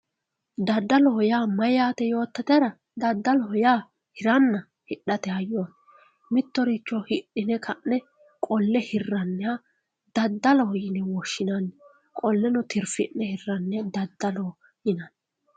daddaloho yaa mayyaate yoottotera daddaloho yaa hiranna hidhate hayooti mittoricho hidhine ka'ne qolle hirranniha daddaloho yine woshshinanni qolleno tirfi'ne hirranniha daddaloho yine woshshinanni.